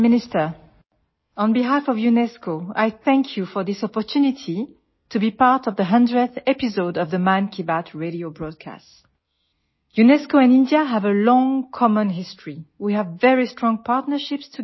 ডিজি UNESCO ইউনেস্কোৰ হৈ শ্ৰদ্ধাৰ প্ৰধানমন্ত্ৰী ডাঙৰীয়ালৈ নমস্কাৰ মহামান্য গৰাকীয়ে মন কী বাত ৰেডিঅ সম্প্ৰচাৰৰ শততম খণ্ডত জড়িত হোৱাৰ এই সুযোগ দিয়াৰ বাবে আপোনাক ধন্যবাদ জনাইছো